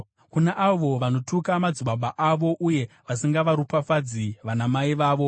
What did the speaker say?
“Kuna avo vanotuka madzibaba avo uye vasingaropafadzi vanamai vavo;